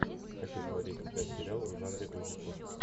хочу смотреть сейчас сериал в жанре ужасов